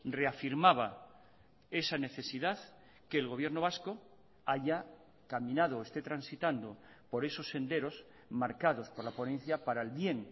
reafirmaba esa necesidad que el gobierno vasco haya caminado o esté transitando por esos senderos marcados por la ponencia para el bien